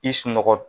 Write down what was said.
I sunɔgɔ